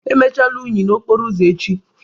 Emechala unyi n'okporo ụzọ echi!